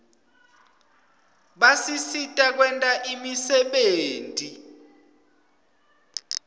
basisita kwenta imisebenti